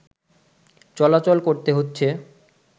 চলাচল করতে হচ্ছে